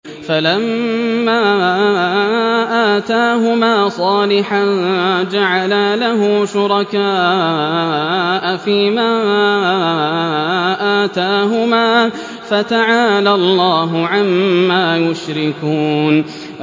فَلَمَّا آتَاهُمَا صَالِحًا جَعَلَا لَهُ شُرَكَاءَ فِيمَا آتَاهُمَا ۚ فَتَعَالَى اللَّهُ عَمَّا يُشْرِكُونَ